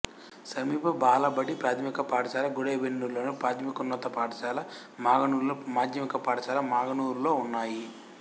సమీప బాలబడి ప్రాథమిక పాఠశాల గుడెబెల్లూర్లోను ప్రాథమికోన్నత పాఠశాల మాగనూరులోను మాధ్యమిక పాఠశాల మాగనూరులోనూ ఉన్నాయి